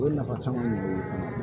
O ye nafa caman ɲɛ o ye fana